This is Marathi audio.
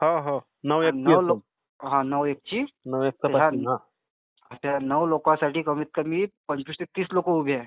हो, हो. नऊ एक ची. आणि त्या नऊ लोकांसाठी कमीत कमी पंचवीस ते तीस लोक उभी आहेत.